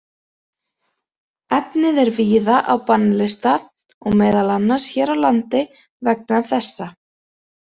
Efnið er víða á bannlista og meðal annars hér á landi vegna þessa.